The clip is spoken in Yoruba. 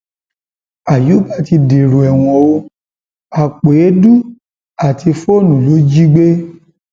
àyùbá ti dèrò ẹwọn o àpò èédú àti fóònù ló jí gbé